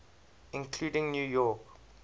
including new york